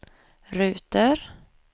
ruter